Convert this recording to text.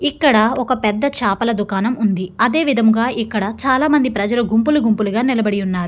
ఇక్కడ ఒక పెద్ద చేపల దుకాణం ఉంది అదేవిధంగా ఇక్కడ చాలా మంది ప్రజల గుంపులు గుంపులుగా నిలబడి ఉన్నారు.